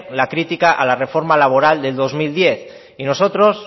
la crítica a la reforma laboral de dos mil diez y nosotros